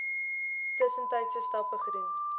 tussentydse stappe gedoen